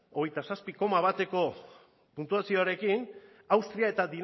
hogeita zazpi koma bateko puntuazioarekin austria eta